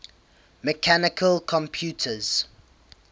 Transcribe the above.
mechanical computers